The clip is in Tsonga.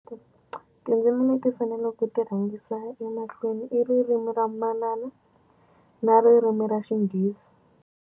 Tindzimi leti faneleke ku ti rhangisa emahlweni i ririmi ra manana na ririmi ra xinghezi.